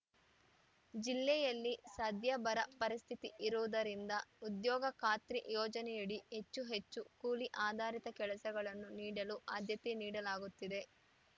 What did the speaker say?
ಜಿಲ್ಲೆಯಲ್ಲಿ ಸದ್ಯ ಬರ ಪರಿಸ್ಥಿತಿ ಇರುವುದರಿಂದ ಉದ್ಯೋಗಖಾತ್ರಿ ಯೋಜನೆಯಡಿ ಹೆಚ್ಚು ಹೆಚ್ಚು ಕೂಲಿ ಆಧಾರಿತ ಕೆಲಸಗಳನ್ನು ನೀಡಲು ಆದ್ಯತೆ ನೀಡಲಾಗುತ್ತಿದೆ